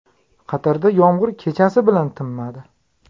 Qatarda yomg‘ir kechasi bilan tinmadi.